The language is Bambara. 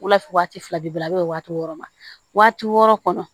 Wulafɛ waati filabila waa wɔɔrɔ ma waati wɔɔrɔ kɔnɔ